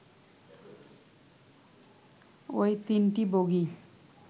ওই তিনটি বগি